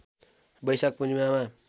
बैशाख पूर्णिमामा